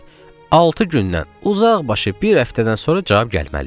altı gündən uzaqbaşı bir həftədən sonra cavab gəlməli idi.